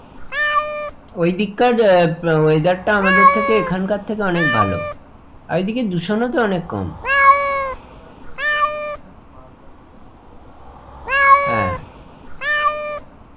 ওই দিককার আহ weather টা আমাদের থেকে এখানকার থেকে অনেক ভালো আর এদিকে দূষণও তো অনেক কম গাছপালা গুলো ওদের বেশি না পাহাড় পর্বতে আহ ওই জন্য দূষণটা ওদের কম,